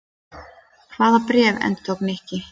Hvaða bréf? endurtók Nikki.